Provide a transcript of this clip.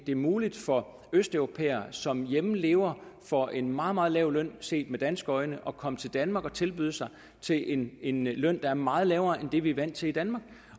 det muligt for østeuropæere som derhjemme lever for en meget meget lav løn set med danske øjne at komme til danmark og tilbyde sig til en en løn der er meget lavere end det vi er vant til i danmark